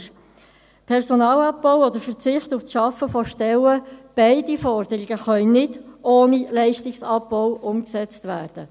Der Personalabbau oder der Verzicht auf die Schaffung von Stellen – beide Forderungen können nicht ohne Leistungsabbau umgesetzt werden.